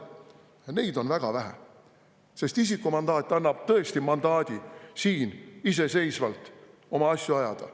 Ja neid on väga vähe, sest isikumandaat annab tõesti mandaadi siin iseseisvalt oma asju ajada.